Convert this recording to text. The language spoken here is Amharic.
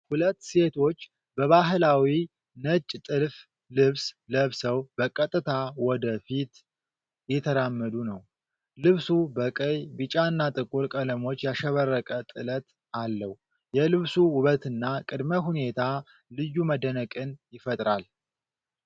ሁለት ሴቶች በባህላዊ ነጭ ጥልፍ ልብስ ለብሰው በቀጥታ ወደ ፊት እየተራመዱ ነው። ልብሱ በቀይ፣ ቢጫና ጥቁር ቀለሞች ያሸበረቀ ጥለት አለው። የልብሱ ውበትና ቅድመ ሁኔታ ልዩ መደነቅን ይፈጥራል።